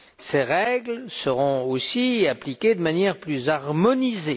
Ces règles seront aussi appliquées de manière plus harmonisée.